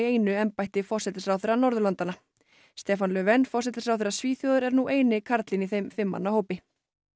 einu embætti forsætisráðherra Norðurlandanna stefan Löfven forsætisráðherra Svíþjóðar er nú eini karlinn í þeim fimm manna hópi